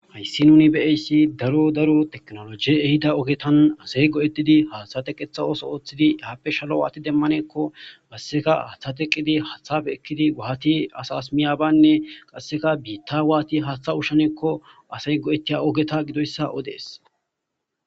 Hayisi nuni beeyssi daro daro teknoloji ehida ogetan asay go'etidi haathate qeetha ooso ooththidi eaappe shalo waati demaneko basseka haaththateqqidi haathafe ekkidi waati as as miyabaynne qasseka biitta waati haaththa ushshanekko asey go'ettiya ogeta gidoyssa odees